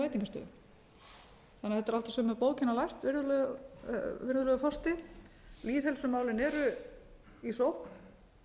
veitingastöðum þannig að þetta er allt á sömu bókina lært virðulegur forseti lýðheilsumálin eru í sókn